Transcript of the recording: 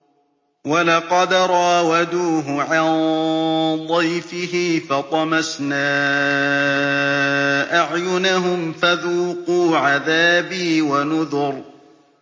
وَلَقَدْ رَاوَدُوهُ عَن ضَيْفِهِ فَطَمَسْنَا أَعْيُنَهُمْ فَذُوقُوا عَذَابِي وَنُذُرِ